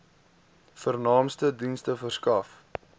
vernaamste dienste verskaf